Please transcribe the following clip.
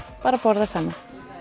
bara að borða saman